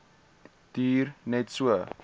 duur net so